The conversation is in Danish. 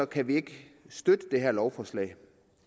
kan vi ikke støtte det her lovforslag